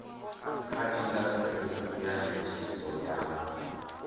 kha indasiteri ya netshedzo ya